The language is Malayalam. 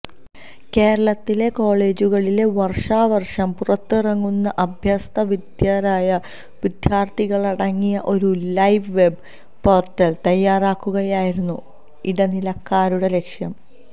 കേരളത്തിലെ കോളജുകളിലെ വര്ഷാവര്ഷം പുറത്തിറങ്ങുന്ന അഭ്യസ്തവിദ്യരായ വിദ്യാര്ത്ഥികളടങ്ങിയ ഒരു ലൈവ് വെബ് പോര്ട്ടല് തയ്യാറാക്കുകയായിരുന്നു ഇടനിലക്കാരുടെ ലക്ഷ്യം